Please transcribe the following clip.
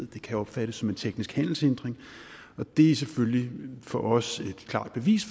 det kan opfattes som en teknisk handelshindring det er selvfølgelig for os et klart bevis